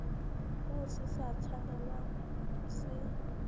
moo se sa tshwanelang se